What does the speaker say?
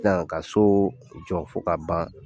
ka so jɔ fo ka ban.